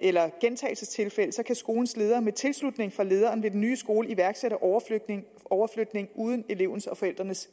eller gentagelsestilfælde kan skolens leder med tilslutning fra lederen ved den nye skole iværksætte overflytning overflytning uden elevens og forældrenes